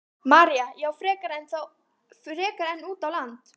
María: Já, frekar en út á land?